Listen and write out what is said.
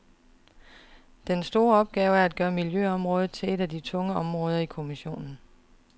Den store opgave er at gøre miljøområdet til et af de tunge områder i kommissionen.